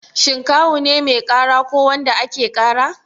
Shin Kawu ne mai ƙara ko wanda ake ƙara?